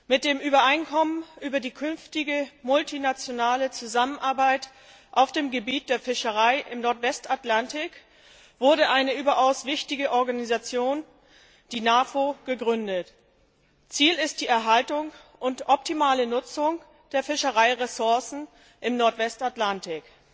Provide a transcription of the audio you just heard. Mit dem Übereinkommen über die künftige multinationale Zusammenarbeit auf dem Gebiet der Fischerei im Nordwestatlantik wurde eine überaus wichtige Organisation, die NAFO, gegründet. Ziel ist die Erhaltung und optimale Nutzung der Fischereiressourcen im Nordwestatlantik.